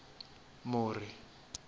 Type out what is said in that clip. muri